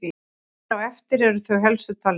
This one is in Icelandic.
Hér á eftir eru þau helstu talin upp.